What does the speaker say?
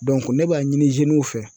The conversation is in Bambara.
ne b'a ɲini fɛ